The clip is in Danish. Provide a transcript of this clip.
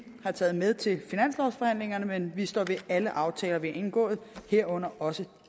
har taget med til finanslovsforhandlingerne men vi står ved alle aftaler vi har indgået herunder også